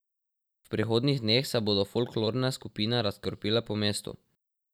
V prihodnjih dneh se bodo folklorne skupine razkropile po mestu.